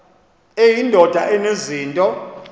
eyi ndoda enezinto